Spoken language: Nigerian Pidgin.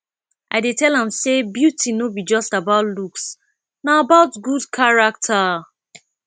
i dey tell am sey beauty no be just about looks na about good character